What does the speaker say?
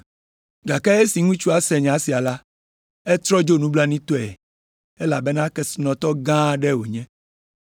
Gake esi ŋutsua se nya sia la, etrɔ dzo nublanuitɔe, elabena kesinɔtɔ gã aɖe wònye.